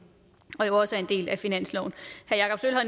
og jo også er en del af finansloven